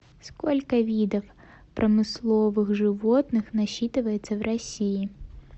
сколько видов промысловых животных насчитывается в россии